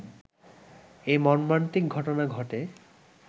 এ মর্মান্তিক ঘটনা ঘটে